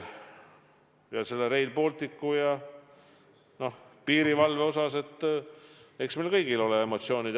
Mis puutub Rail Balticusse ja piirivalvesse, siis eks meil kõigil ole emotsioonid.